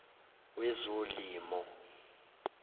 wezolimo